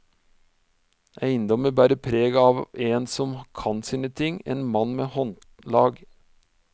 Eiendommen bærer preg av en som kan sine ting, en mann med håndlag.